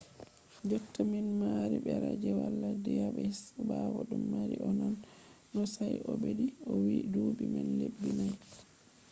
jotta minɗo mari ɓera je wala diyabetis bawo ɗum mari no nane no sai o ɓeddi o wi duuɓi man lebbi nai.